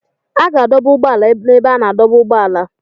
A ga-adọba ụgbọ ala n'ebe a na-adọba ụgbọala.